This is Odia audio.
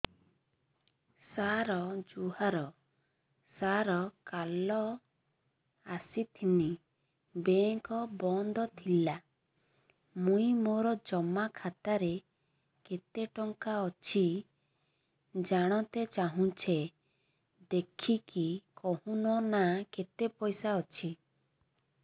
ସାର ଜୁହାର ସାର କାଲ ଆସିଥିନି ବେଙ୍କ ବନ୍ଦ ଥିଲା ମୁଇଁ ମୋର ଜମା ଖାତାରେ କେତେ ଟଙ୍କା ଅଛି ଜାଣତେ ଚାହୁଁଛେ ଦେଖିକି କହୁନ ନା କେତ ପଇସା ଅଛି